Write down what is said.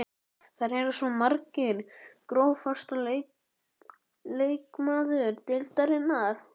Þær eru svo margar Grófasti leikmaður deildarinnar?